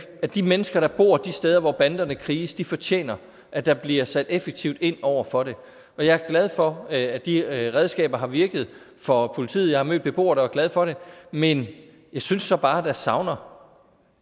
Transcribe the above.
at de mennesker der bor de steder hvor banderne kriges fortjener at der bliver sat effektivt ind over for det og jeg er glad for at de redskaber har virket for politiet jeg har mødt beboere der var glade for det men jeg synes så bare der savnes